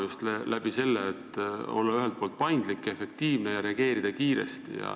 Just seepärast, et olla paindlik ja efektiivne ja reageerida kiiresti.